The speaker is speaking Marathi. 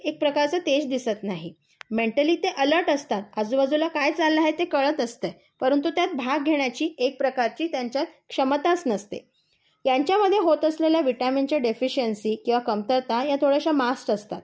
एक प्रकारचे तेज दिसत नाही. मेंटली ते अलर्ट असतात. आजूबाजूला काय चाललं आहे ते कळत असते. परंतु त्यात भाग घेण्याची एक प्रकारची त्यांच्यात क्षमताच नसते. यांच्यामध्ये होत असलेल्या विटामीनच्या देफिशियनसी किंवा कमतरता या थोड्याशा मास्ट असतात